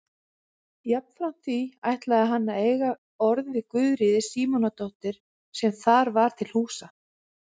Jafnframt því ætlaði hann að eiga orð við Guðríði Símonardóttur sem þar var til húsa.